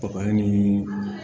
Baga ni